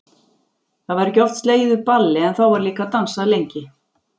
Það var ekki oft slegið upp balli en þá var líka dansað lengi.